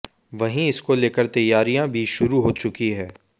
वहीं इसको लेकर तैयारियां भी शुरू हो चुकी है